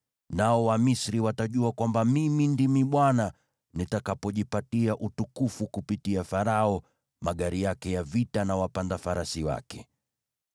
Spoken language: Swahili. Nao Wamisri watajua kwamba Mimi ndimi Bwana nitakapojipatia utukufu kupitia Farao, magari yake ya vita na wapanda farasi wake.”